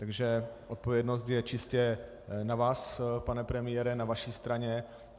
Takže odpovědnost je čistě na vás, pane premiére, na vaší straně.